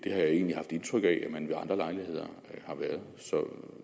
jeg egentlig haft indtryk af at man ved andre lejligheder har været så